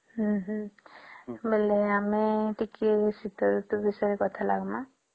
ହମ୍ମ ହମ୍ମ ବୋଲେ ଆମେ ଟିକେ ଶୀତ ଋତୁ ବିଷୟରେ କଥା ଲାଗିମ